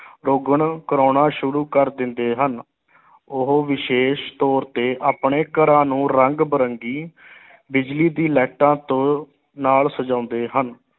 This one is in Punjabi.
ਰੋਗਨ ਕਰਾਉਣਾਂ ਸ਼ੁਰੂ ਕਰ ਦਿੰਦੇ ਹਨ ਉਹ ਵਿਸ਼ੇਸ਼ ਤੌਰ ਤੇ ਆਪਣੇ ਘਰਾਂ ਨੂੰ ਰੰਗ ਬਿਰੰਗੀ ਬਿਜਲੀ ਦੀ ਲਾਈਟਾਂ ਤੋਂ ਨਾਲ ਸਜਾਉਂਦੇ ਹਨ।